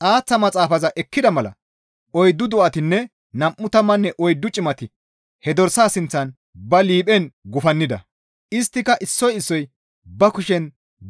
Xaaththa maxaafaza ekkida mala oyddu do7atinne nam7u tammanne oyddu cimati he dorsaa sinththan ba liiphen gufannida. Isttika issoy issoy ba kushen